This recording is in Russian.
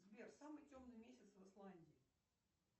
сбер самый темный месяц в исландии